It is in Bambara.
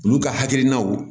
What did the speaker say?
Olu ka hakilinaw